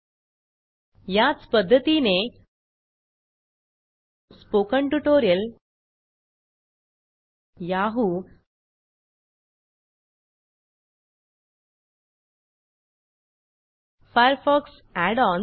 डब्ल्यूडब्ल्यूडब्ल्यूडब्ल्यूडब्यूडब्यूडब्यूडब्यूडब्यूडब्यूडब्यूडब्ल्यूडब्यूडब्यूडब्यूडब्यूडब्यूडब्यूडब्यूडब्यूडब्यूडब्ल्यूडब्ल्यूडब्यूडब्यूडब्ल्ल्यूडब्यूडब्यूडब्यूडब्यूडब्यूडब्यूडब्यूडब्यूडब्यूडब्यूडब dot Google dot com type करा